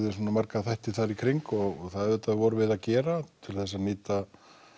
marga þætti þar í kring og það auðvitað vorum við að gera til að nýta